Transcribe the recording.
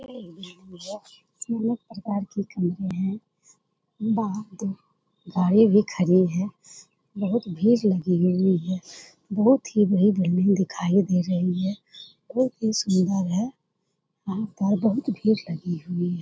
यह एक बिल्डिंग है अनेक प्रकार की कमरे है बहुत गाड़ी भी खड़ी है | बहुत भीड़ लगी हुई है बहुत ही भीड़ हमे दिखाई दे रही है बहुत ही सुंदर है यहाँ पर बहुत भीड़ लगी हुई है।